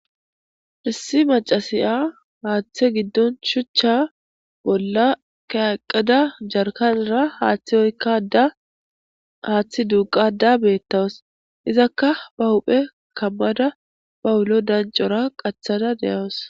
Hyssi macasiya haaththe giddon shuchcha bolla kayaqqada jarkanara haaththi oykkada haaththi duuqada beettawas izakka ba huphe kammada bawulo dancora qacthada deyawus.